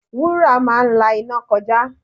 Wúrà máa ń la iná kọjá.